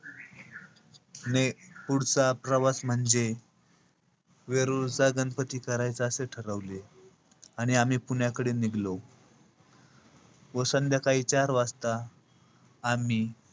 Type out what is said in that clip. पुढचा प्रवास म्हणजे वेरूळच्या गणपती करायचा असे ठरवले. आणि आम्ही पुण्याकडे निघलो. व संध्याकाळी चार वाजता, आम्ही,